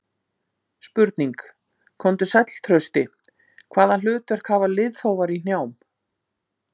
Spurning: Komdu sæll Trausti, Hvaða hlutverk hafa liðþófar í hnjám?